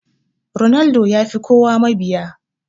Ronaldo yafi kowa mabiya.